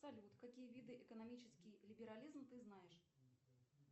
салют какие виды экономический либерализм ты знаешь